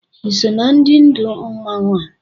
Iso na ndị ndụù mmanwụ a?